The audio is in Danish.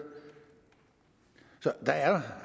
så der er